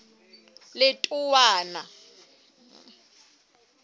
letowana